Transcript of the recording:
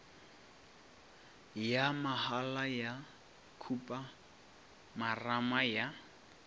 ya mahala ya khupamarama ya